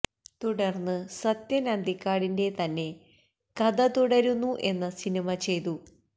തുടർന്ന് സത്യൻ അന്തിക്കാടിൻറെ തന്നെ കഥ തുടരുന്നു എന്ന സിനിമ ചെയ്തു